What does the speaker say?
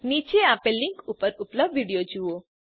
નીચે આપેલ લીંક પર ઉપલબ્ધ વિડીયો જુઓ